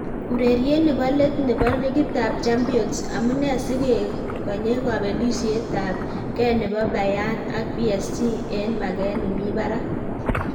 Ureriet nebo let nebo ligitab Champions : Amune si kegonye kobelisitab kee nebo Bayern ak PSG en maget nemi barak